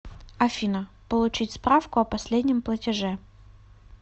афина получить справку о последнем платеже